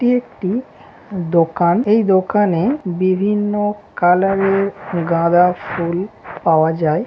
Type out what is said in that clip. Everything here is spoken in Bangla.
এটি একটি দোকান এই দোকানে বিভিন্ন কালার - এর গাঁদা ফুল পাওয়া যায়।